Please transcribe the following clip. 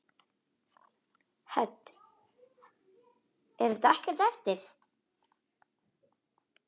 Hödd: Er þetta ekkert erfitt?